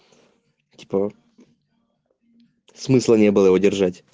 типа смысла не было его держать